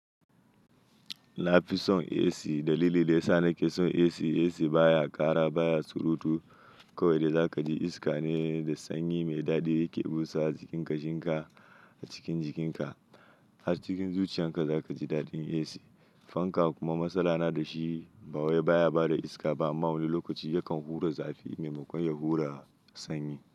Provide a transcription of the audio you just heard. Na fi son AC dalili da ya sa na ke son AC, AC baya ƙara baya surutu. Kawai da za ka ji iska ne da sanyi mai daɗi yake busa jikinka, shinka a cikin jikinka. A cikin zuciyarka za ka ji daɗin AC. Fanka kuma matsala na da shi, ba waye baya bada iska ba amma wani lokaci yakan hura zafi maimakon ya hura sanyi.